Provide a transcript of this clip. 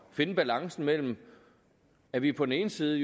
finde balancen mellem at vi på den ene side